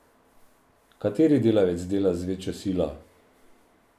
Kateri delavec dela z večjo silo?